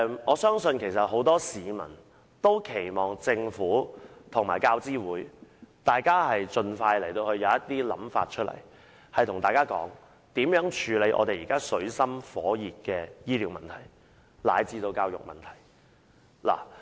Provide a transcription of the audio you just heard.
我相信很多市民都期望政府與教資會盡快提出建議，處理現時水深火熱的醫療問題及教育問題。